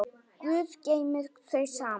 Guð geymi þau saman.